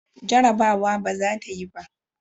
Jarabawa ba za ta yi ba.